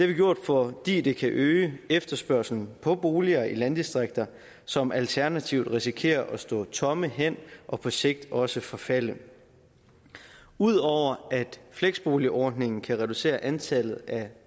vi gjort fordi det kan øge efterspørgslen på boliger i landdistrikter som alternativt risikerer at stå tomme hen og på sigt også forfalde udover at fleksboligordningen kan reducere antallet af